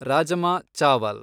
rajma ಚಾವಲ್